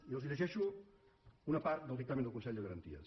i els llegeixo una part del dictamen del consell de garanties